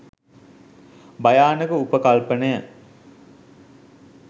භයානක උපකල්පනය.